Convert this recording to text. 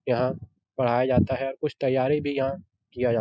यहाँ पढ़ाया जाता है । कुछ तैयारी भी यहाँ किया जा --